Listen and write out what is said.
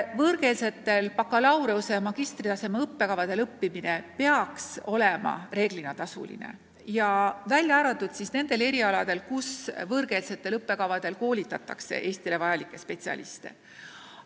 Võõrkeelsetel bakalaureuse- ja magistritaseme õppekavadel õppimine peaks olema reeglina tasuline, välja arvatud nendel erialadel, kus võõrkeelsetel õppekavadel koolitatakse Eestile vajalikke spetsialiste.